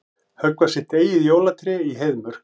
Höggva sitt eigið jólatré í Heiðmörk